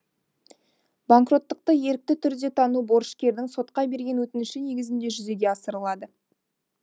банкроттыкты ерікті түрде тану борышкердін сотқа берген өтініші негізінде жүзеге асырылады